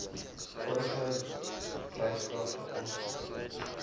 vorige dryfkragte aangesien